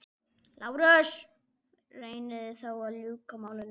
LÁRUS: Reynið þá að ljúka málinu.